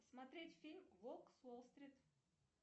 смотреть фильм волк с уолл стрит